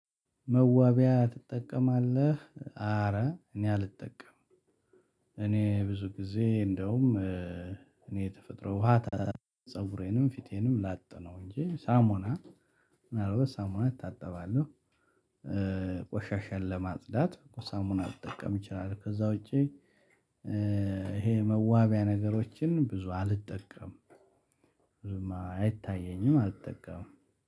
መዋቢያ ትጠቀማለህ? አረ እኔ አልጠቀምም። እኔ ብዙ ጊዜ እንደውም እኔ የተፈጥሮ ውሃ ፀጉሬንም ፊቴንም ላጥ ነው እንጂ ሳሙና ሳሙና እታጠባለሁ። ቆሻሻን ለማጽዳት ሳሙና ልጠቀም እችላለሁ። ከዛ ውጪ ይሄ መዋቢያ ነገሮችን ብዙ አልጠቀም። አይታየኝም። አልጠቀምም።